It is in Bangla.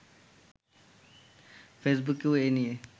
ফেসবুকেও এ নিয়ে